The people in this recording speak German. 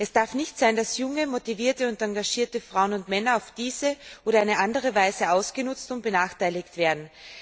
Es darf nicht sein, dass junge, motivierte und engagierte Frauen und Männer auf diese oder eine andere Weise ausgenutzt und benachteiligt werden.